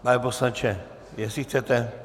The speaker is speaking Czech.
Pane poslanče, jestli chcete...